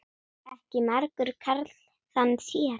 Ekki margur karl þann sér.